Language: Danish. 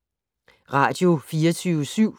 Radio24syv